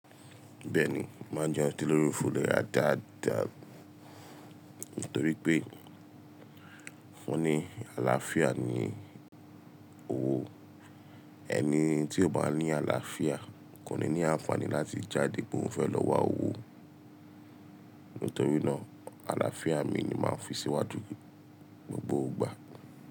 Bẹ́ẹ̀ni, má jẹ́ ẹ́n ti lórí òfin lè ra dáadáa. Nítorí pé fún ní àlàáfíà ni owó. Ẹni tí ò bá ní àlàáfíà kò ní ní àǹfààní láti jáde pe oun fẹ́ lọ wá owó. Nítorí náà, àlàáfíà mi ni máa ń fi síwájú n gbogbo ìgbà.